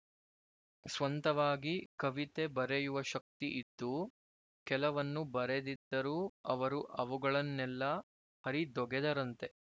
ಸ್ವಂತವಾಗಿ ಕವಿತೆ ಬರೆಯುವ ಶಕ್ತಿ ಇದ್ದೂ ಕೆಲವನ್ನು ಬರೆದಿದ್ದರೂ ಅವರು ಅವುಗಳನ್ನೆಲ್ಲ ಹರಿದೊಗೆದರಂತೆ